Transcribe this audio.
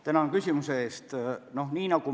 Tänan küsimuse eest!